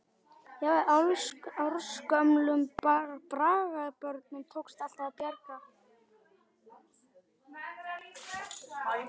Jafnvel ársgömlum braggabörnum tókst alltaf að bjarga.